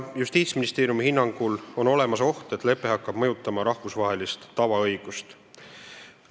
Justiitsministeeriumi hinnangul on olemas oht, et lepe hakkab mõjutama rahvusvahelist tavaõigust.